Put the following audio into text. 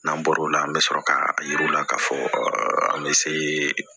N'an bɔr'o la an bɛ sɔrɔ k'a yir'u la k'a fɔ an bɛ se